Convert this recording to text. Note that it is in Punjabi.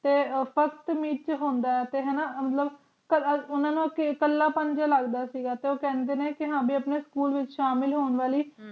ਪਰਬਤ ਵਿੱਚ ਹੁੰਦਾ ਤੇ ਹਮਲਾ ਕਰਾਂ ਗੁਨਾਹ ਨਾ ਕਿ ਇਕੱਲਾ ਭੱਜਦਾ ਸੀ ਕਹਿੰਦੇ ਨੇ ਕਿ ਸਕੂਲ ਵਿੱਚ ਸ਼ਾਮਿਲ ਹੋਣ ਵਾਲੀ